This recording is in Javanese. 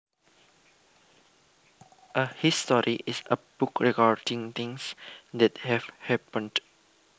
A history is a book recording things that have happened